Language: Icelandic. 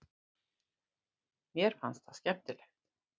Mér fannst það skemmtilegt.